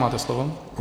Máte slovo.